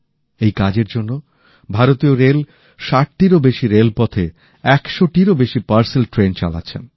এই কাজের জন্য ভারতীয় রেল ৬০টিরও বেশি রেলপথে ১০০টিরও বেশি পার্সেল ট্রেন চালাচ্ছে